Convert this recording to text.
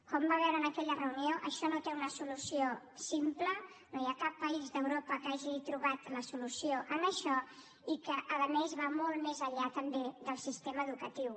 com va veure en aquella reunió això no té una solució simple no hi ha cap país d’europa que hagi trobat la solució a això i a més va molt més enllà també del sistema educatiu